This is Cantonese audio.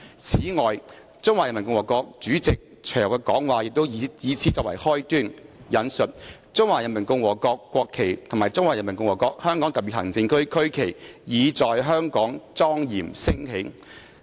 此外，中華人民共和國主席隨後的講話也以此作為開端：'中華人民共和國國旗和中華人民共和國香港特別行政區區旗，已在香港莊嚴升起。